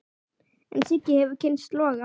En Siggi hefur kynnst loga.